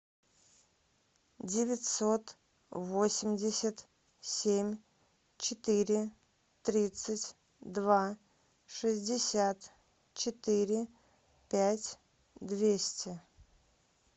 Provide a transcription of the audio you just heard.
девятьсот восемьдесят семь четыре тридцать два шестьдесят четыре пять двести